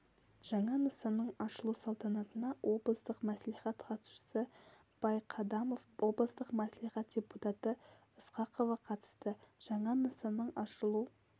жаңа нысанның ашылу салтанатына облыстық мәслихат хатшысы байқадамов облыстық мәслихат депутаты ысқақова қатысты жаңа нысанның ашылу